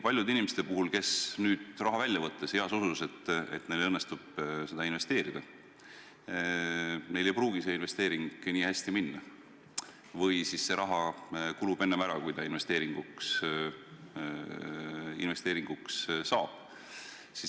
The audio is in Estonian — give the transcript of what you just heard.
Paljudel inimestel, kes nüüd raha välja võtavad – heas usus, et neil õnnestub seda investeerida –, ei pruugi see investeering hästi minna või see raha kulub enne ära, kui see investeeringuks saab.